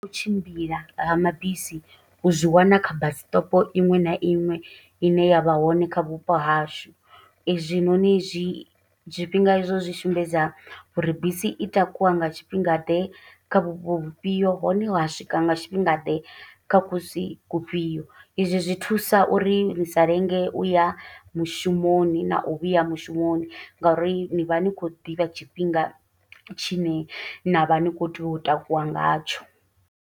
U tshimbila ha mabisi u zwi wana kha bus stop iṅwe na iṅwe i ne ya vha hone kha vhupo hashu. I zwi noni zwi, zwifhinga i zwo zwi sumbedza uri bisi i takuwa nga tshifhinga ḓe kha vhupo vhufhio, hone wa swika nga tshifhinga ḓe kha kusi kufhio. I zwi zwi thusa uri ni sa lenge u ya mushumoni na u vhuya mushumoni, nga uri ni vha ni khou ḓivha tshifhinga tshine na vha ni khou tea u takuwa nga tsho.